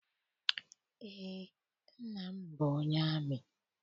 Eé, nna m bụ onye amị.